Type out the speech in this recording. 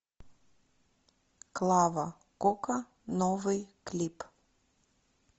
клава кока новый клип